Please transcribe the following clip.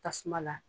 Tasuma la